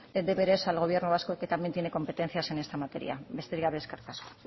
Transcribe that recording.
deberes al gobierno vasco que también tiene competencias en esta materia besterik gabe eskerrik asko